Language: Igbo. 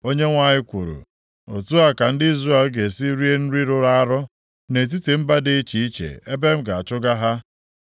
Onyenwe anyị kwuru, “Otu a ka ndị Izrel ga-esi rie nri rụrụ arụ, nʼetiti mba dị iche iche ebe m ga-achụga ha.”